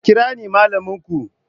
Ku kira ni malaminku!